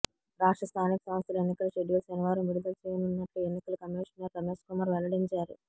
రాష్ట్ర స్థానిక సంస్థల ఎన్నికల షెడ్యూల్ శనివారం విడుదల చేయనున్నట్లు ఎన్నికల కమిషనర్ రమేష్ కుమార్ వెల్లడించారు